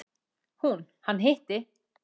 Hún: Hann hitti.